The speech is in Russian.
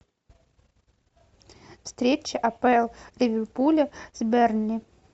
встреча апл ливерпуля с бернли